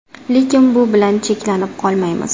Lekin bu bilan cheklanib qolmaymiz.